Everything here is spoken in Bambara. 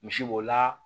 Misi b'o la